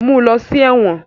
Mu u lọ si ẹwọn!